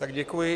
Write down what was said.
Tak děkuji.